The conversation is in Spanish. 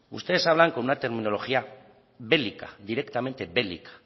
ustedes hablan con una tecnología bélica directamente bélica